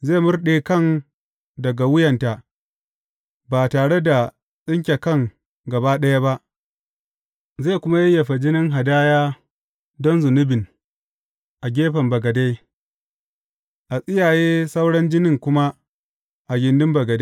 Zai murɗe kan daga wuyanta, ba tare da tsinke kan gaba ɗaya ba, zai kuma yayyafa jinin hadaya don zunubin a gefen bagade; a tsiyaye sauran jinin kuma a gindin bagade.